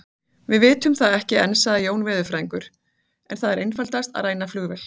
Við vitum það ekki enn sagði Jón veðurfræðingur, en það er einfaldast að ræna flugvél